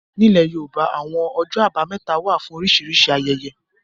Ní ilẹ̀ yóòbá, àwọn ọjọ́ àbámẹ́ta wà fún oríṣìíríṣìí ayẹyẹ